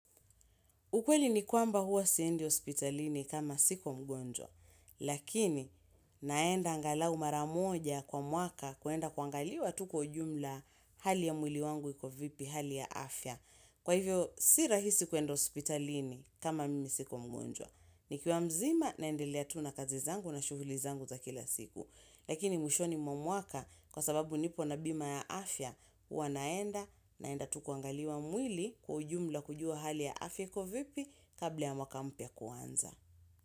Ukweli ni kwamba huwa siendi hospitalini kama siko mgonjwa, lakini naenda angalau mara moja kwa mwaka kuenda kuangaliwa tu kwa ujumla hali ya mwili wangu iko vipi hali ya afya. Kwa hivyo, si rahisi kuenda hospitalini kama mimi siko mgonjwa. Nikiwa mzima naendelea tu na kazi zangu na shughuli zangu za kila siku. Lakini mwishoni mwa mwaka kwa sababu nipo na bima ya afya huwanaenda naenda tu kuangaliwa mwili kwa ujumla kujua hali ya afya ikovipi kabla ya mwaka mpya kuanza.